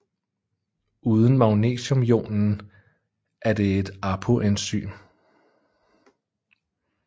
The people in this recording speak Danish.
Uden magnesiumionen er det et apoenzym